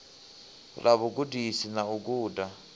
ḽa vhugudisi na u guda